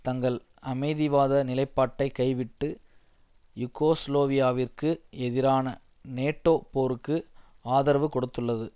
தங்கள் அமைதிவாத நிலைப்பாட்டை கைவிட்டு யூகோஸ்லோவியாவிற்கு எதிரான நேட்டோ போருக்கு ஆதரவு கொடுத்துள்ளது